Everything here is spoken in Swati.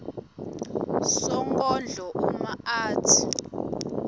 sonkondlo uma atsi